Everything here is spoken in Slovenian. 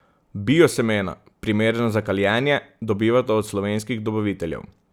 Bio semena, primerna za kaljenje, dobivata od slovenskih dobaviteljev.